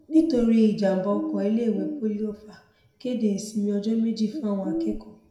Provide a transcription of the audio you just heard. nítorí ìjàḿbà ọkọ iléèwé poli ofa kéde ìsinmi ọjọ méjì fáwọn akẹkọọ